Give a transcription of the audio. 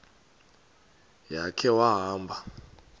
ya khe wahamba